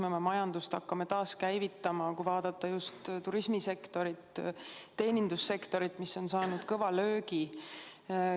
Kuidas me oma majandust hakkame taaskäivitama, kui vaadata just turismisektorit, teenindussektorit, mis on saanud kõva löögi?